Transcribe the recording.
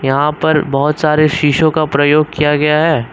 यहां पर बहोत सारे शीशों का प्रयोग किया गया है।